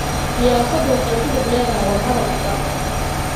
Siyaasaddu waxay ku lug lahayd wadahadal furan.